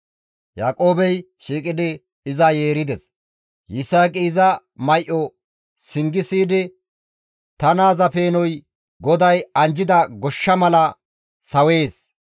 Yaaqoobey shiiqidi iza yeerides; Yisaaqi iza may7o singi siyidi, «Ta naaza peenoy GODAY anjjida goshsha mala sawees.